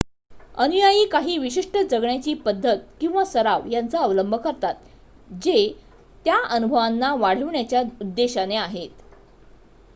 अनुयायी काही विशिष्ट जगण्याची पद्धत किंवा सराव यांचा अवलंब करतात जे त्या अनुभवांना वाढविण्याच्या उद्देशाने आहेत